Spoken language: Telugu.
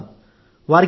కలిసే వాళ్లం